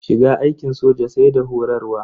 Shiga aikin soja sai da horarwa.